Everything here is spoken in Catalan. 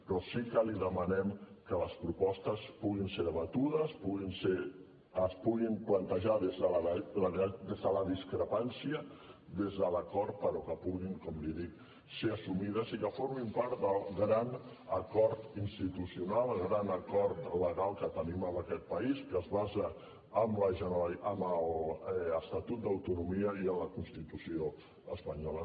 però sí que li demanem que les propostes puguin ser debatudes es puguin plantejar des de la discrepància des de l’acord però que puguin com li dic ser assumides i que formin part del gran acord institucional el gran acord legal que tenim en aquest país que es basa en l’estatut d’autonomia i en la constitució espanyola